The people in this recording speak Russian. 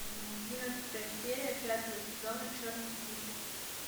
одиннадцатая серия пятого сезона черный список